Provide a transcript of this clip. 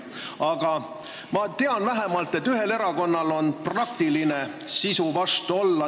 Aga ma tean, et vähemalt ühel erakonnal on praktiline eelnõu sisu vastu olla.